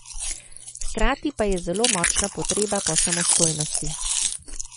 Hkrati pa je zelo močna potreba po samostojnosti.